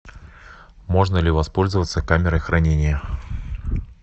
можно ли воспользоваться камерой хранения